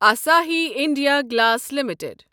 Asahi India glass limited